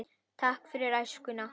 Takk fyrir æskuna.